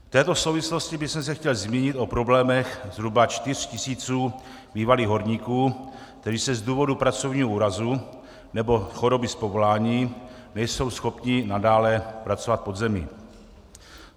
V této souvislosti bych se chtěl zmínit o problémech zhruba čtyř tisíců bývalých horníků, kteří z důvodu pracovního úrazu nebo choroby z povolání nejsou schopni nadále pracovat pod zemí.